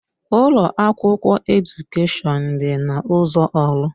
Ụlọ akwụkwọ Edukèshọn dị na ụzọ orlu.